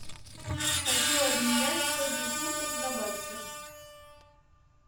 хочу обменять сотню фунтов на баксы